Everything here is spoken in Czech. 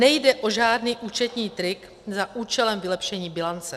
Nejde o žádný účetní trik za účelem vylepšení bilance.